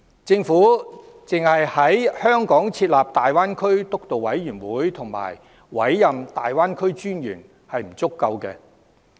政府只在香港設立粵港澳大灣區建設督導委員會和委任粵港澳大灣區發展專員是不足夠的。